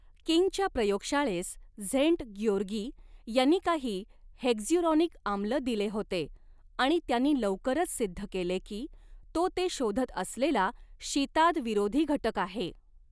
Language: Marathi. किंगच्या प्रयोगशाळेस स्झेन्ट ग्योरगी यांनी काही हेक्झ्युरॉनिक आम्ल दिले होते आणि त्यांनी लवकरच सिद्ध केले की तो ते शोधत असलेला शीतादविरोधी घटक आहे.